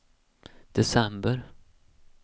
december